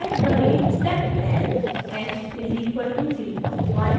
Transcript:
type करें: step length h = 01